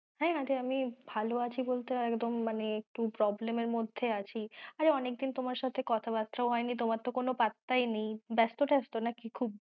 হ্যাঁ আমি ভালো আছি বলতে একদম মানে একটু problem এর মধ্যে আছি, আরে অনেক দিন তোমার সাথে কথা বাত্রাও হয়েনি, তোমার তো কোনো পাত্তাই নেই, ব্যেস্ত ত্যাস্ত নাকি?